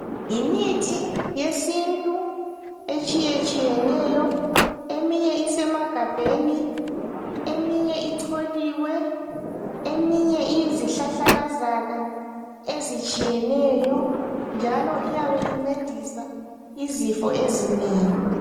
Yimithi yesintu etshiye tshiyeneyo eminye isemagabheni eminye icholiwe eminye iyizihlahlakazana ezitshiyeneyo njalo iyabe incedisa izifo ezinengi.